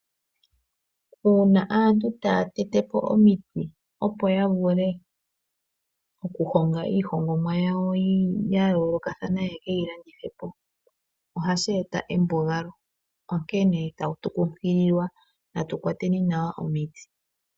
Uuna aantu taya tetepo omiti opo okuhonga iihongomwa yawo yayoolokathana, yekeyi landithepo ohashi eta embugalo, onkene tatu kunkililwa tukwate nawa omiti.